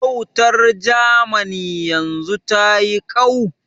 Wautar Jamani yanzun ta yi ƙau?